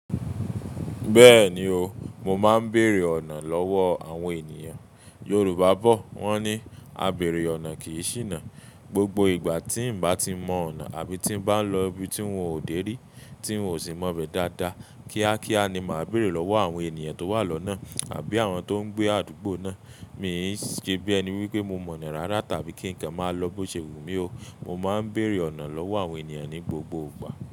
Bẹ́ẹ̀ni o, mo máa ń bèèrè ọ̀nà lọ́wọ́ àwọn ènìyàn. Yorùbá bọ̀ wọ́n ní "A bèèrè ọ̀nà kì í ṣìnà". Gbogbo ìgbà tí ń bá ti mọ ọ̀nà àbí tí ń bá lọ ibi tí n ò dé rí, tí n ò sì mọ̀ bẹ́ dáadáa, kíákíá ni màá bèèrè lọ́wọ́ àwọn ènìyàn tó wà lọ́nà àbí àwọn tó ń gbé àdúgbò náà. Mi ò ṣe bí ẹni wí pé mo mọ̀ ọ́n rárá tàbí kí nǹkan máa lọ bó ṣe wù mí o. Mo máa ń bèèrè ọ̀nà lọ́wọ́ àwọn ènìyàn ní gbogbo ìgbà.